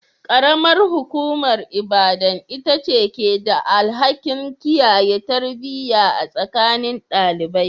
Karamar hukumar Ibadan ita ce ke da alhakin kiyaye tarbiyya a tsakanin ɗalibai.